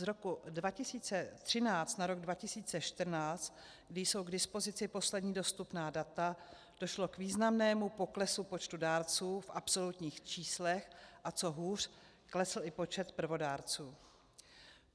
Z roku 2013 na rok 2014, kdy jsou k dispozici poslední dostupná data, došlo k významnému poklesu počtu dárců v absolutních číslech, a co hůř, klesl i počet prvodárců.